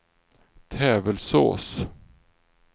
Tävelsås